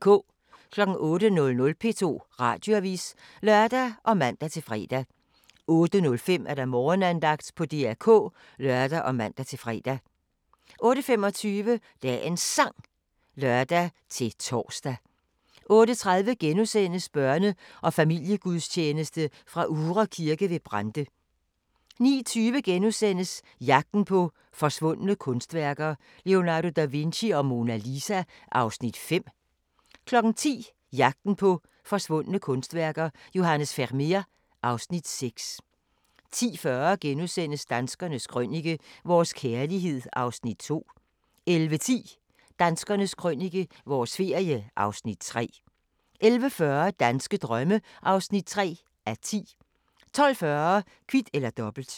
08:00: P2 Radioavis (lør og man-fre) 08:05: Morgenandagten på DR K (lør og man-fre) 08:25: Dagens Sang (lør-tor) 08:30: Børne- og familiegudstjeneste fra Uhre Kirke ved Brande * 09:20: Jagten på forsvundne kunstværker - Leonardo da Vinci og Mona Lisa (Afs. 5)* 10:00: Jagten på forsvundne kunstværker – Johannes Vermeer (Afs. 6) 10:40: Danskernes Krønike - vores kærlighed (Afs. 2)* 11:10: Danskernes Krønike – vores ferie (Afs. 3) 11:40: Danske drømme (3:10) 12:40: Kvit eller Dobbelt